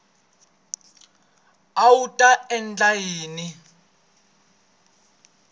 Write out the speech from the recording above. a wu ta endla yini